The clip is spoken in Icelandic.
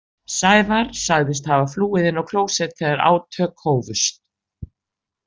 Sævar sagðist hafa flúið inn á klósett þegar átök hófust.